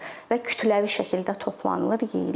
Və kütləvi şəkildə toplanılır, yeyilir.